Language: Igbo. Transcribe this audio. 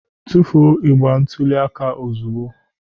Tufuo igbe ntụli aka ozugbo!